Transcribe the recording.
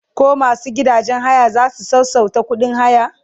koh masu gidajen haya zasu sassauta ƙuɗin haya?